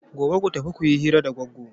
Gobe ku tafi ku yi hira da Goggo!